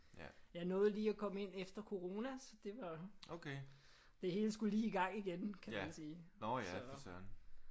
Jeg nåede lige at komme ind efter corona så det var. Det hele skulle i gang igen kan man sige så